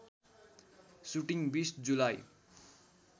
shooting २० July